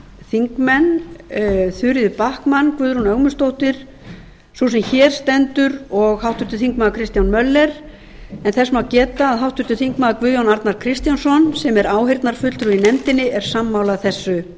þingmenn þuríður backman guðrún ögmundsdóttir sú sem hér stendur og háttvirtir þingmenn kristján l möller þess má geta að háttvirtir þingmenn guðjón arnar kristjánsson sem er áheyrnarfulltrúi í nefndinni er sammála þessu